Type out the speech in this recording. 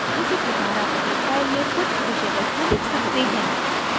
उसी प्रकार आप अपनी फ़ाइल में कुछ विषय वस्तु लिख सकते हैं